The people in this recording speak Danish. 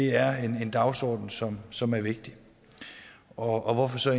er en dagsorden som som er vigtig og hvorfor så